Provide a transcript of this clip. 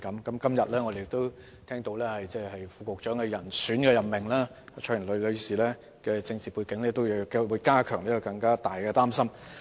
我們今天也聽到教育局副局長的人選任命是蔡若蓮女士，其政治背景也會令大家更為擔心。